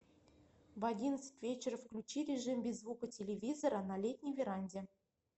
в одиннадцать вечера включи режим без звука телевизора на летней веранде